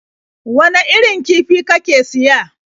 Wane irin kifi kake siya?